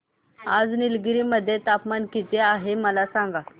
आज निलगिरी मध्ये तापमान किती आहे मला सांगा